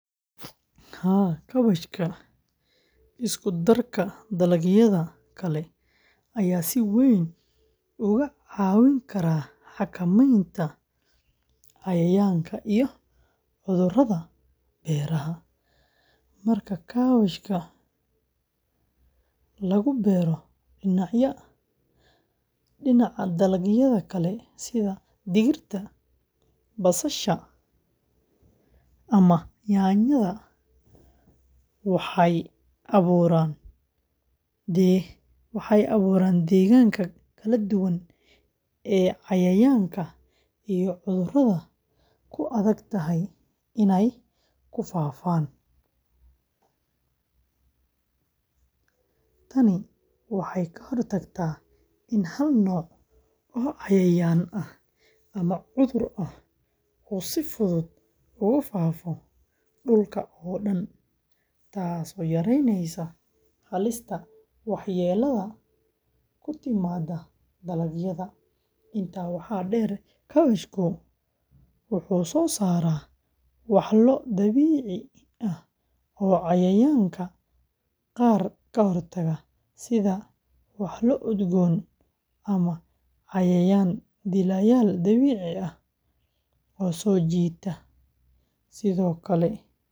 Haa, kaabashka isku-darka dalagyada kale ayaa si weyn uga caawin kara xakamaynta cayayaanka iyo cudurrada beeraha. Marka kaabashka lagu beero dhinaca dalagyada kale sida digirta, basasha, ama yaanyada, waxay abuuraan deegaanka kala duwan oo cayayaanka iyo cudurrada ku adag tahay inay ku faaftaan. Tani waxay ka hortagtaa in hal nooc oo cayayaan ah ama cudur ah uu si fudud uga faafo dhulka oo dhan, taasoo yaraynaysa halista waxyeelada ku timaada dalagyada. Intaa waxaa dheer, kaabashku wuxuu soo saaraa walxo dabiici ah oo cayayaanka qaar ka hortaga, sida walxo udgoon ama cayayaan dilayaal dabiici ah oo soo jiita.